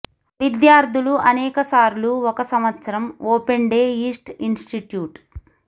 విద్యార్థులు అనేక సార్లు ఒక సంవత్సరం ఓపెన్ డే ఈస్ట్ ఇన్స్టిట్యూట్